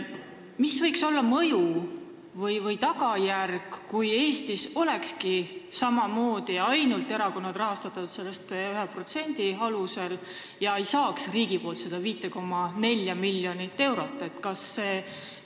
Mis võiks olla tagajärg, kui Eestis oleks samamoodi – erakondi rahastataks ainult selle 1% alusel ja nad ei saaks riigilt seda 5,4 miljonit eurot?